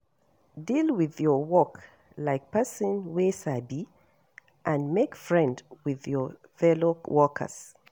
Deal with your work like person wey sabi and make friend with your fellow workers